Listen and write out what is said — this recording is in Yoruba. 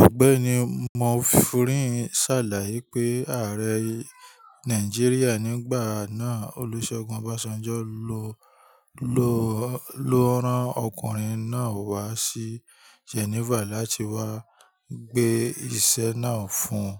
Ọ̀gbẹ́ni Mofurin sàlàyé pé ààrẹ Nàìjíríà nígbà náà, Olúṣẹ́gun Ọbásanjọ́ lo lo ran ọkùnrin náà wá sí Geneva láti wá gbé ìṣe náà fún un.